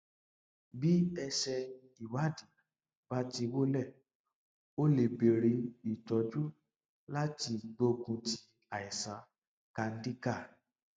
bí èsì ìwádìí bá ti wọlé o lè bẹrẹ ìtọjú láti gbógun ti àìsàn candida